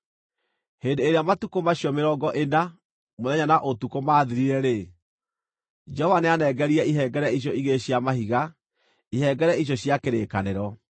Hĩndĩ ĩrĩa matukũ macio mĩrongo ĩna, mũthenya na ũtukũ, maathirire-rĩ, Jehova nĩanengerire ihengere icio igĩrĩ cia mahiga, ihengere icio cia kĩrĩkanĩro.